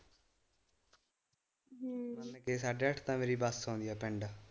ਫਿਰ ਸਾਡੇ ਅੱਠ ਤਾ ਮੇਰੀ ਬੱਸ ਆਉਂਦੀ ਆ ਪਿੰਡ।